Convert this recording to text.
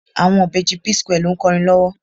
Àwọn ìbejì P-square ló ń kọrin lọ́wọ́.